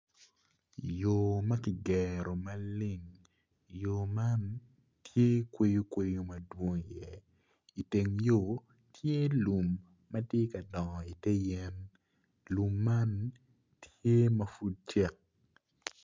Yo ma kjigero maleng yo man tye kweyo kweyo madwong iye iteng yo tye lum ma tye ka dongo ite yen lum man tye ma pud cek.